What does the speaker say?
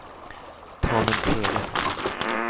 Tanumshede